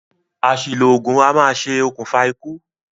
Àsìlò ògùn a maá ṣe òkùnfà ikú